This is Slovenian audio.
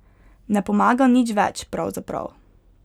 Ne pomaga nič več, pravzaprav.